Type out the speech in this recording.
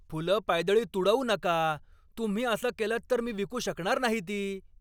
फुलं पायदळी तुडवू नका! तुम्ही असं केलंत तर मी विकू शकणार नाही ती!